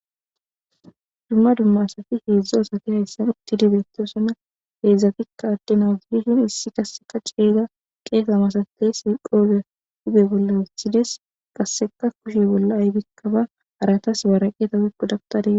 dumma dumma asati heedzdza asati hayssan utti dibeetosonna heedzdzatikka adde naazibishin issi kasseka ceeyga qeega masatey siqoobe huge bolla wuthides qasseka kushe bolla aybikkaba aratas waraqeta wikko dabtadee